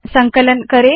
संकलन करे